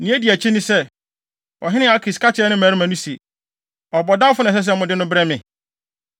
Nea edi akyi ne sɛ, ɔhene Akis ka kyerɛɛ ne mmarima se, “Ɔbɔdamfo na ɛsɛ sɛ mode no brɛ me?